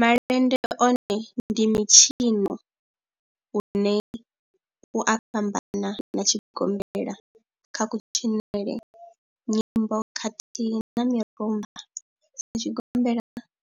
Malende one ndi mitshino une u a fhambana na tshigombela kha kutshinele, nyimbo khathihi na mirumba. Sa tshigombela,